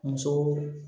Muso